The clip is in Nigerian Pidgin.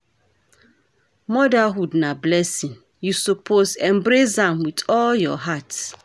Motherhood na blessing, you suppose embrace am wit all your heart.